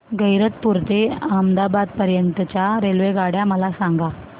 गैरतपुर ते अहमदाबाद पर्यंत च्या रेल्वेगाड्या मला सांगा